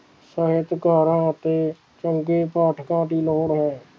ਸਾਹਿਤਕਾਰਾਂ ਅਤੇ ਚੰਗੇ ਪਾਠਕਾਂ ਦੀ ਲੋੜ ਹੈ